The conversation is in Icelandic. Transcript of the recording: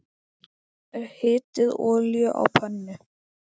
Hitið olíu á pönnu.